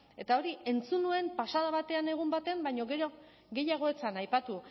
eta hori entzun nuen pasada batean egun batean baina gehiago ez zen aipatu